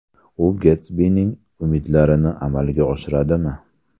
U Getsbining umidlarini amalga oshiradimi?